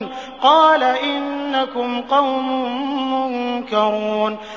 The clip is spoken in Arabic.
قَالَ إِنَّكُمْ قَوْمٌ مُّنكَرُونَ